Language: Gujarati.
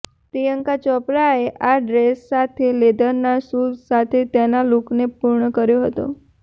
પ્રિયંકા ચોપરાએ આ ડ્રેસ સાથે લેધરના શૂઝ સાથે તેના લુકને પૂર્ણ કર્યો હતો